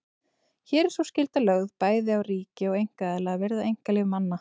Hér er sú skylda lögð bæði á ríki og einkaaðila að virða einkalíf manna.